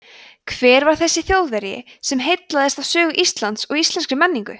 hver var þessi þjóðverji sem heillaðist af sögu íslands og íslenskri menningu